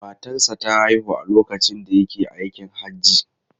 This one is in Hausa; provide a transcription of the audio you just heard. Matarsa ​​ta haihu a lokacin da yake aikin Hajji.